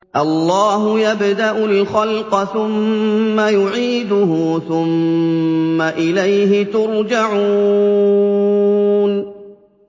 اللَّهُ يَبْدَأُ الْخَلْقَ ثُمَّ يُعِيدُهُ ثُمَّ إِلَيْهِ تُرْجَعُونَ